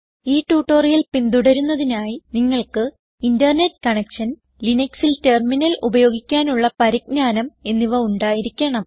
ഈ ട്യൂട്ടോറിയൽ പിന്തുടരുന്നതിനായി നിങ്ങൾക്ക് ഇന്റർനെറ്റ് കണക്ഷൻ ലിനക്സിൽ ടെർമിനൽ ഉപയോഗിക്കാനുള്ള പരിജ്ഞാനം എന്നിവ ഉണ്ടായിരിക്കണം